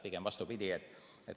Pigem vastupidi.